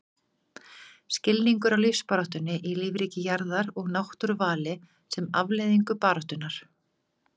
Skilningur á lífsbaráttunni í lífríki jarðar og náttúruvali sem afleiðingu baráttunnar.